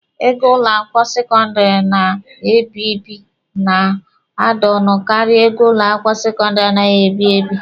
Ego ụlọ akwụkwọ sekọndịrị a na-ebi ebi na-ada ọnụ karịa ego ụlọ akwụkwọ sekọndịrị anaghị ebi ebi.